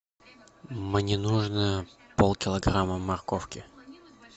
мне нужно пол килограмма морковки